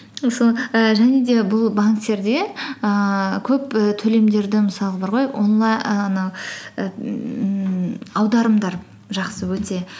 сол і және де бұл банктерде ііі көп і төлемдерді мысалғы бар ғой і анау і ммм аударымдар жақсы өте